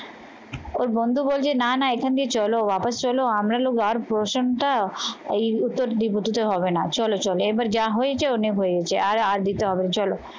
ওর বন্ধু বলছে না না এখান দিয়ে চলো আবার চলো এই উত্তর দেবো দুটো হবে না, চলো চলো এবার যা হয়েছে অনেক হয়েছে আর আর দিতে হবে না, চলো